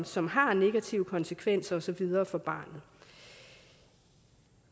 som har negative konsekvenser og så videre for barnet